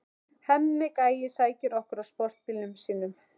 Hemmi gæi sækir okkur á sportbílnum sínum.